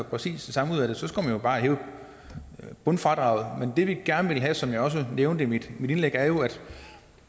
præcis det samme ud af det skulle man jo bare hæve bundfradraget men det vi gerne vil have som jeg også nævnte i mit indlæg er jo